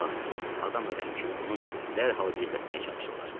İlahi, adam öləndə kimi onu dərhal gizlətməyə çalışırlar.